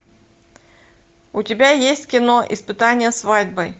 у тебя есть кино испытание свадьбой